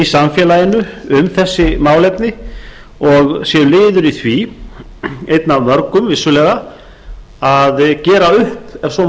í samfélaginu um þessi málefni og séu liður í því einn af mörgum vissulega að gera upp ef svo má